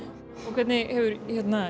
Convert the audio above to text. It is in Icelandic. hvernig hefur